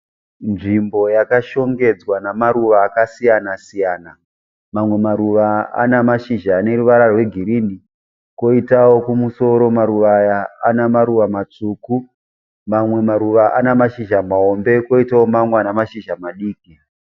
Nzvimbo yakashongedzwa namaruva akasiyana siyana. Mamwe maruva ana mashizha ane ruvara rwegirini. Koitawo kumusoro maruva aya ana maruva matsvuku. Mamwe maruva ana mashizha mahombe koitawo mamwe ana mashizha madiki.